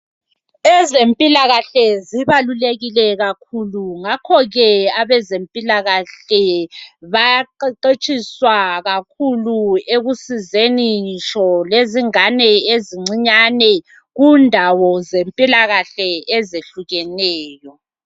Ezempilakahle zibalulekile kakhulu ngakhoke abezempilakahle bayaqheqhetshiswa kakhulu ekusizeni ngitsho lezingane ezincinyane kundawo zempilakahle ezehlukeneyo